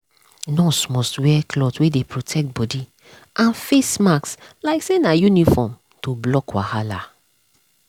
nurse must wear cloth wey dey protect body and face mask like say na uniform to block wahala.